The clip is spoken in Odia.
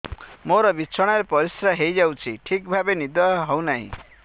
ମୋର ବିଛଣାରେ ପରିସ୍ରା ହେଇଯାଉଛି ଠିକ ଭାବେ ନିଦ ହଉ ନାହିଁ